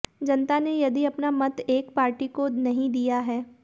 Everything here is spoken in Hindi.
जनता ने यदि अपना मत एक पार्टी को नहीं दिया है